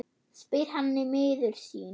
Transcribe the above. spyr hann miður sín.